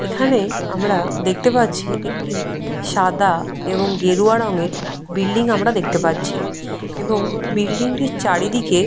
এখানে আমরা দেখতে পাচ্ছি একটি সাদা এবং গেরুয়া রঙের বিল্ডিং আমরা দেখতে পাচ্ছি এবং বিল্ডিং -টির চারিদিকে --